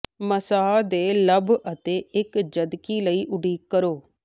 ਮਸਹ ਨੇ ਲੱਭ ਅਤੇ ਇੱਕ ਜਦਕਿ ਲਈ ਉਡੀਕ ਕਰੋ